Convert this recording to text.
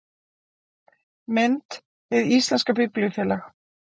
Mynd: Hið íslenska Biblíufélag